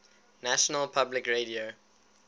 national public radio